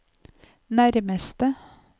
nærmeste